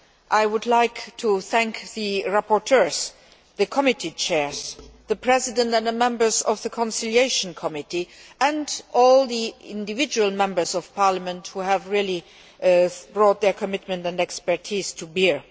I would like to thank the rapporteurs, the committee chairs, the President and the members of the Conciliation Committee, and all the individual Members of Parliament who have brought their commitment and expertise to bear.